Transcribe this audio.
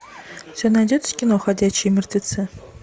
у тебя найдется кино ходячие мертвецы